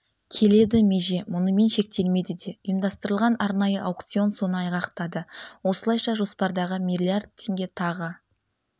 келеді меже мұнымен шектелмейді де ұйымдастырылған арнайы аукцион соны айғақтады осылайша жоспардағы миллиард теңге тағы